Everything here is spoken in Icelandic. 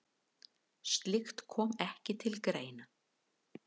Slíkt komi ekki til greina.